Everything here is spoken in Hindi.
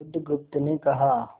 बुधगुप्त ने कहा